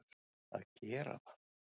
að gera það.